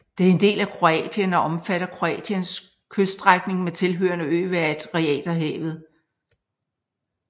Det er en del af Kroatien og omfatter Kroatiens kyststrækning med tilhørende øer ved Adriaterhavet